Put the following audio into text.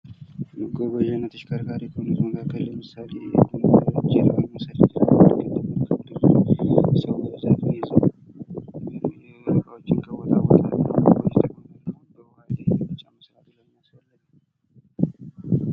መጓጓዣና ተሽከርካሪ ለምሳሌ ጀልባን መዉሰድ እንችላለን። ሰዎችን እና እቃዎችንና ከቦታ ቦታ በዉኃ ላይ በመጫን ያንቀሳቅሳሉ።